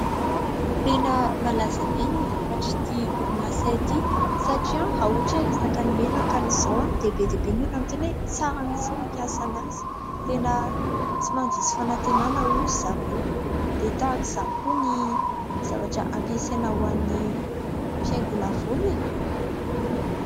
Tena malaza be ny vokatr'ity orinasa ity satria raha ohatra ny resaka menakany izao dia be dia be ny olona miteny hoe tsara mihitsy ny mampiasa anazy, tena tsy mandiso fanantenana hoy ry zareo, dia tahaka izany koa ny zavatra ampiasaina ho an'ny fiaingona volo e!